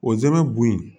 Ozɛmɛ bo in